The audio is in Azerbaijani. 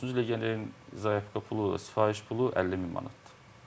13-cü legionerin zayovka pulu da, sifariş pulu 50 min manatdır.